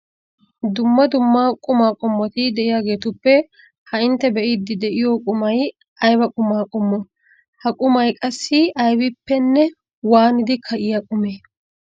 Dumma dumma qumaa qommoti de'iyageetuppe ha intte be'iiddi de'iyo qumay ayba qumaa qommo? Ha qumay qassi aybippenne waanidi ka'iya qumee?